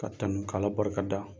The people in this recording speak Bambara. Ka tanu k'Ala barika da.